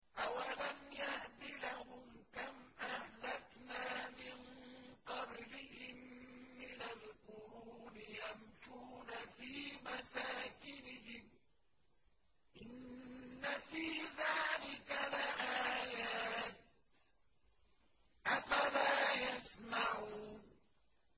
أَوَلَمْ يَهْدِ لَهُمْ كَمْ أَهْلَكْنَا مِن قَبْلِهِم مِّنَ الْقُرُونِ يَمْشُونَ فِي مَسَاكِنِهِمْ ۚ إِنَّ فِي ذَٰلِكَ لَآيَاتٍ ۖ أَفَلَا يَسْمَعُونَ